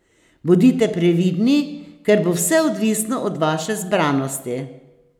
Bodite previdni, ker bo vse odvisno od vaše zbranosti.